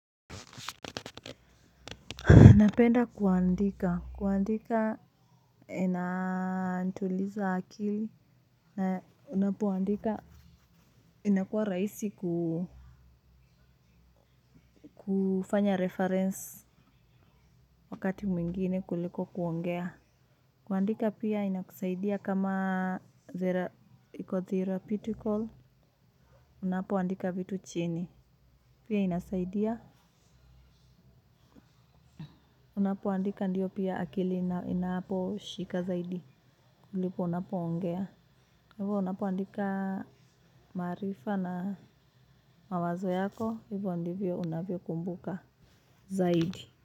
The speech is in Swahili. Napenda kuandika. Kuandika inanituliza akili. Na unapoandika inakuwa rahisi kufanya reference wakati mwingine kuliko kuongea. Kuandika pia inakusaidia kama iko therapeutical. Unapoandika vitu chini. Pia inasaidia. Unapoandika ndiyo pia akili inaposhika zaidi. Kuliko unapoongea. Hivyo unapuandika maarifa na mawazo yako hivyo ndivyo unavyokumbuka zaidi.